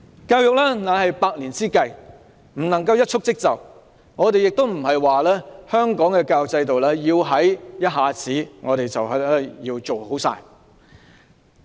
教育是百年之計，不能一蹴即就，我們並非要求香港的教育制度問題一下子獲得解決。